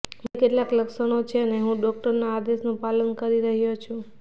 મને કેટલાક લક્ષણો છે અને હું ડોકટરોના આદેશનું પાલન કરી રહ્યો છું